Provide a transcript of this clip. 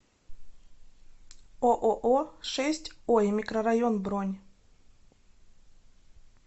ооо шесть ой микрорайон бронь